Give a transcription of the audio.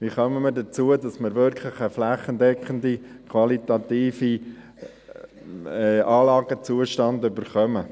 Wie kommen wir dazu, dass wir wirklich einen flächendeckenden, qualitativen Anlagenzustand erhalten?